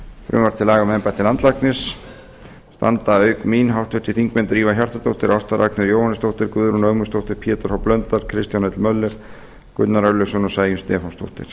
frumvarp til laga um embætti landlæknis standa auk mín háttvirtir þingmenn drífa hjartardóttir ásta ragnheiður jóhannesdóttir guðrún ögmundsdóttir pétur h blöndal kristján l möller gunnar örlygsson og sæunn stefánsdóttir